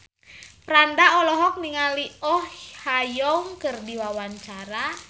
Franda olohok ningali Oh Ha Young keur diwawancara